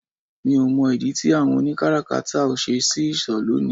Mi ò mọ̀ ìdí tí àwọn oni káràkátà ò ṣe ṣí ìsọ̀ lónìí